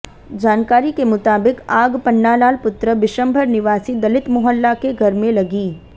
जानकारी के मुताबित आग पन्नालाल पुत्र बिशम्भर निवासी दलित मोहल्ला के घर में लगी